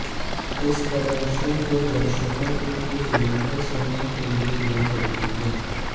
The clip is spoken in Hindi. इस प्रदर्शन के दर्शकों को एक लंबे समय के लिए याद रखेंगे